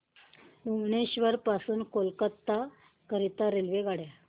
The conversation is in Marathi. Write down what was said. भुवनेश्वर पासून कोलकाता करीता रेल्वेगाड्या